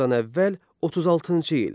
Eradan əvvəl 36-cı il.